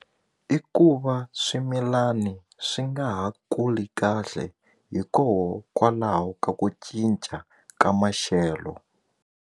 I ku va swimilani swi nga ha kuli kahle hikokwalaho ka ku cinca ka maxelo.